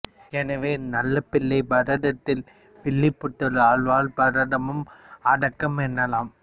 எனவே நல்லாப்பிள்ளை பாரதத்தில் வில்லிபுத்தூர் ஆழ்வார் பாரதமும் அடக்கம் எனலாம்